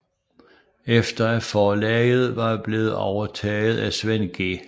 Efter at forlaget var blevet overtaget af Svend G